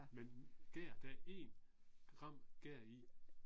Men gær der er 1 gram gær i